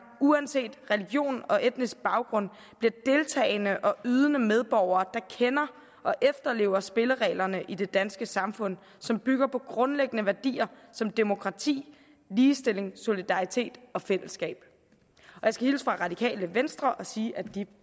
uanset religion og etnisk baggrund bliver deltagende og ydende medborgere der kender og efterlever spillereglerne i det danske samfund som bygger på grundlæggende værdier som demokrati ligestilling solidaritet og fællesskab jeg skal hilse radikale venstre og sige at de